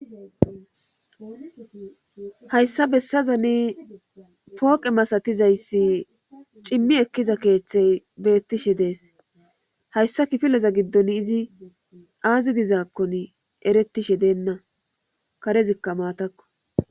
Hayssa bessaza ni pooqe masatizayssi cimmi ekkiza keeththey beettishe dees hayssa kifileza giddon izi aazi dizaakkon eretishe deenna karezikka maatakko.